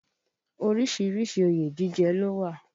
Orísìírísìí òye jíjẹ ló wà